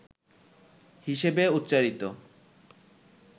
হিসেবে উচ্চারিত